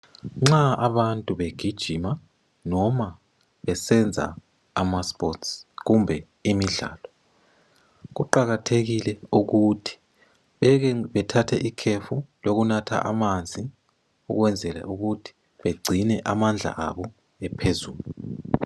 Nxa abantu begijima noma besenza ama sports kumbe imidlalo, kuqakathekile ukuthi beke bethathe ikhefu lokunatha amanzi ukwenzela ukuthi begcine amandla abo ephezulu.